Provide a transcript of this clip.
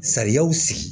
Sariyaw sigi